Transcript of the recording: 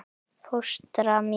Fóstra mín